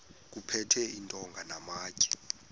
kuphethwe iintonga namatye